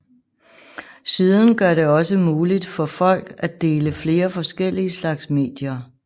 Siden gør det også muligt for folk at dele flere forskellige slags medier